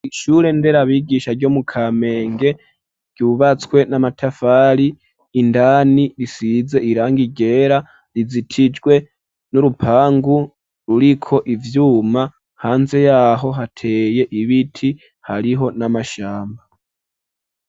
ishure nderabigisha ryo mu kamenge ryubatswe n'amatafari indani risize irangi ryera rizitijwe n'urupangu ruriko ivyuma hanze yaho hateye ibiti hariho n'amashamba